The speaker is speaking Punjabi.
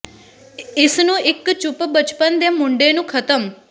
ਇਸ ਨੂੰ ਇੱਕ ਚੁੱਪ ਬਚਪਨ ਦੇ ਮੁੰਡੇ ਨੂੰ ਖਤਮ